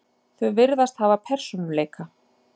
Þau virðast hafa persónuleika.